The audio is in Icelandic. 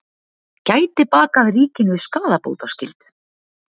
Gæti bakað ríkinu skaðabótaskyldu